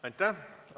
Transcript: Aitäh!